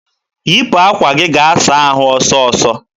wipu akwa gị gaa saa ahụ ọsọ ọsọ!